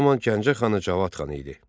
Bu zaman Gəncə xanı Cavad xan idi.